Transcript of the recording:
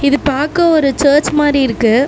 இது பாக்க ஒரு சர்ச் மாரி இருக்கு.